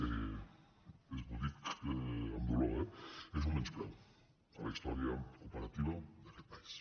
ho dic amb dolor eh és un menyspreu a la història cooperativa d’aquest país